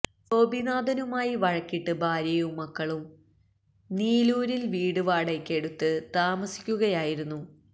ഗോപിനാഥനുമായി വഴക്കിട്ട് ഭാര്യയും മക്കളും നീലൂരില് വീട് വാടകയ്ക്കെടുത്ത് താമസിക്കുകയായിരുന്നു